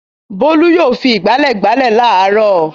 Bólú yóò fi ìgbálẹ̀ gbálẹ̀ láàárọ̀.